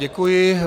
Děkuji.